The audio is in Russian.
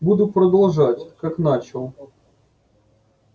буду продолжать как начал